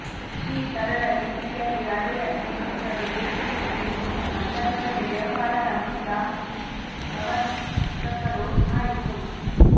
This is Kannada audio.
ಈ ಸರಳ ರೀತಿಯಲ್ಲಿ ಹಳೆಯ ಸ್ನೇಹಿತರು ದೇಶದಲ್ಲಿ ಈ ಹೊಸ ಸಂದರ್ಭದಲ್ಲಿ ವ್ಯವಹಾರದ ಮೂಲ ಪ್ರವರ್ತಕರು ಆಯಿತು